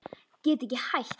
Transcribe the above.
Get ekki hætt.